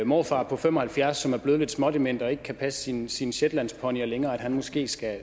morfar på fem og halvfjerds som er blevet lidt smådement og ikke kan passe sine sine shetlandsponyer længere måske skal